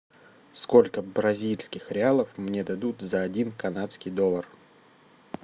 сколько бразильских реалов мне дадут за один канадский доллар